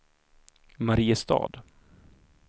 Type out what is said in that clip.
Mariestad